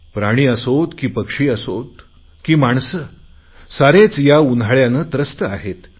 प्राणी असोत की पक्षी असोत की माणसे सारेच या उन्हाळयाने त्रस्त आहेत